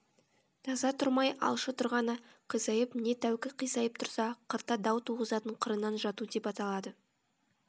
таза тұрмай алшы тұрғаны қисайып не тәукі қисайып тұрса қырта дау туғызатын қырынан жату деп аталады